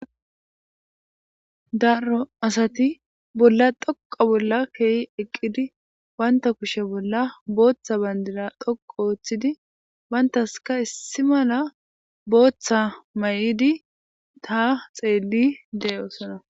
Daaro asati bolla dhoqqa bolla keii eqqidi bantta kushshe bolla booththa banddira dhoqqu ooththidi banttasika issi malla mayidi ha xeeli deo'ossona.